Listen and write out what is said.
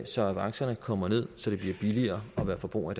så avancerne kommer ned så det bliver billigere at være forbruger